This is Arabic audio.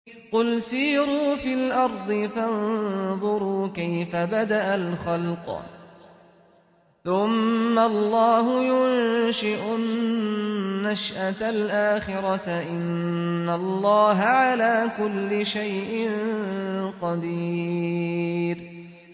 قُلْ سِيرُوا فِي الْأَرْضِ فَانظُرُوا كَيْفَ بَدَأَ الْخَلْقَ ۚ ثُمَّ اللَّهُ يُنشِئُ النَّشْأَةَ الْآخِرَةَ ۚ إِنَّ اللَّهَ عَلَىٰ كُلِّ شَيْءٍ قَدِيرٌ